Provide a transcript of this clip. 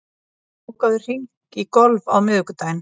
Kolbjörn, bókaðu hring í golf á miðvikudaginn.